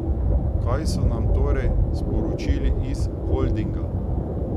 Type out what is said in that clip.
Kaj so nam torej sporočili iz holdinga?